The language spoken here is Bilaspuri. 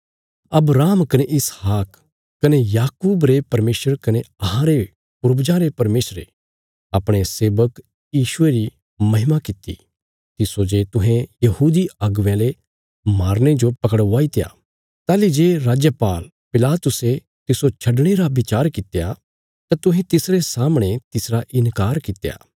अब्राहम कने इसहाक कने याकूब रे परमेशर कने अहांरे पूर्वजां रे परमेशरे अपणे सेवक यीशु री महिमा कित्ती तिस्सो जे तुहें यहूदी अगुवेयां ले मारने जो पकड़वाईत्या ताहली जे राजपाल पिलातुसे तिस्सो छडणे रा बचार कित्या तां तुहें तिसरे सामणे तिसरा इन्कार कित्या